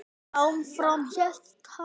Og áfram hélt hann.